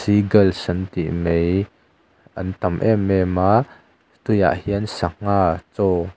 seagulls an tih mai an tam em em a tuiah hian sangha chaw--